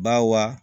Ba wa